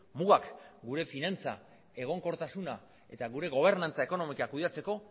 mugak gure finantza egonkortasuna eta gure gobernantza ekonomikoa kudeatzeko